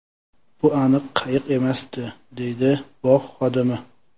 Bu aniq qayiq emasdi”, deydi bog‘ xodimi.